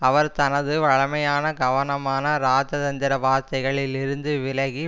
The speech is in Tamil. அவர் தனது வழமையான கவனமான இராஜதந்திர வார்த்தைகளில் இருந்து விலகி